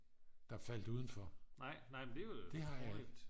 der faldt udenfor det har jeg ikke